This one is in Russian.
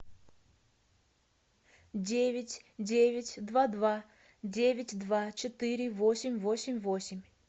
девять девять два два девять два четыре восемь восемь восемь